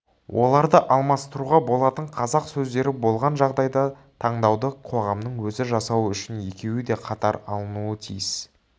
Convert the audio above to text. оларды алмастыруға болатын қазақ сөздері болған жағдайда таңдауды қоғамның өзі жасауы үшін екеуі де қатар алынуы тиіс